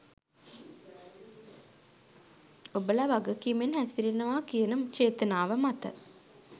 ඔබල වගකීමෙන් හැසිරෙනවා කියන චේතනාව මත.